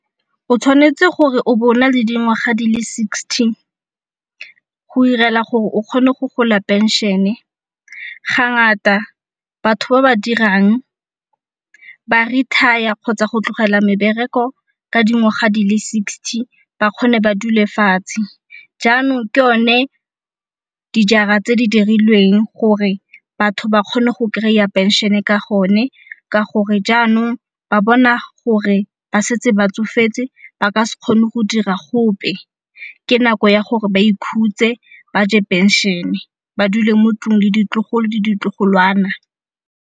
O tshwanetse gore o bo o na le dingwaga di le sixty go irela gore o kgone go gola phenšene. Ga ngata batho ba ba dirang ba retire kgotsa go tlogela mebereko ka dingwaga di le sixty ba kgone ba dule fatshe. Jaanong ke o ne dijara tse di dirilweng gore batho ba kgone go kry-a phenšene ka go ne ka gore jaanong ba bona gore ba setse ba tsofetse ba ka se kgone go dira gope. Ke nako ya gore ba ikhutse ba je phenšene, ba dule mo 'tlung le ditlogolo le ditlogolwana.